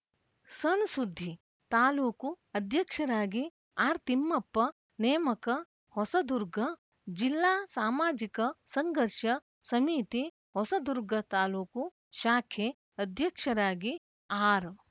ಸಣ್‌ಸುದ್ದಿ ತಾಲೂಕು ಅಧ್ಯಕ್ಷರಾಗಿ ಆರ್‌ ತಿಮ್ಮಪ್ಪ ನೇಮಕ ಹೊಸದುರ್ಗ ಜಿಲ್ಲಾ ಸಾಮಾಜಿಕ ಸಂಘರ್ಷ ಸಮಿತಿ ಹೊಸದುರ್ಗ ತಾಲೂಕು ಶಾಖೆ ಅಧ್ಯಕ್ಷರಾಗಿ ಆರ್‌